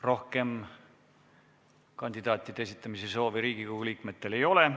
Rohkem kandidaatide esitamise soovi Riigikogu liikmetel ei ole.